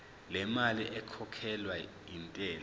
lemali ekhokhelwa intela